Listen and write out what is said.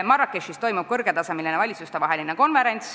Marrakechis toimub kõrgetasemeline valitsustevaheline konverents.